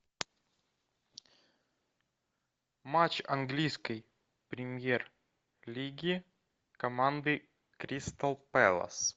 матч английской премьер лиги команды кристал пэлас